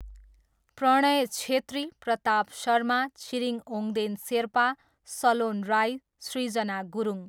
Pranay Chhetri, Pratap Sharma, Chhiring Ongden Sherpa, Salon Rai, Srijana Gurung.